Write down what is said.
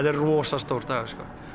er rosa stór dagur